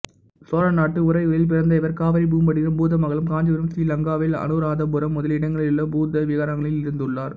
சோழநாட்டு உறையூரில் பிறந்த இவர் காவிரிபூம்பட்டினம் பூதமங்கலம் காஞ்சிபுரம் ஸ்ரீலங்காவில் அநுராதபுரம் முதலிய இடங்களிலுள்ள புத்த விகாரங்களில் இருந்துள்ளார்